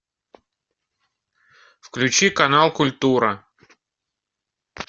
включи канал культура